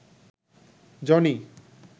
Johnny